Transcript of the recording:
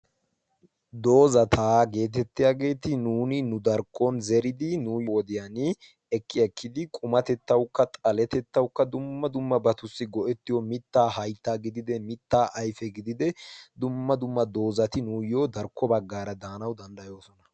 Doozataa geetettiyaageeti nuuni nu darkkon zeridi nuuy wodiyan ekki ekkidi qumatettawukka xaletettaukka dumma dumma batussi go'ettiyo mittaa haytta gidide mitta ayfe gidide dumma dumma doozati nuuyyo darkko baggaara daanau danddayoosona.